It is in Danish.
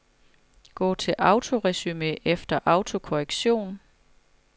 Gå til autoresumé efter autokorrektion.